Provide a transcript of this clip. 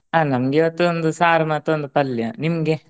ಹಾ ನಮ್ಗೆ ಇವತ್ತು ಒಂದ ಸಾರು ಮತೊಂದ ಪಲ್ಯ ನಿಮ್ಗೆ?